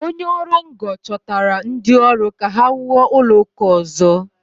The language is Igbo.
Onye ọrụ ngo chọtara ndị ọrụ ka ha wuo ụlọ ụka ọzọ.